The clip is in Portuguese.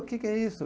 O que que é isso?